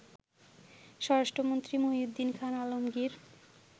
স্বরাষ্ট্রমন্ত্রী মহীউদ্দীন খান আলমগীর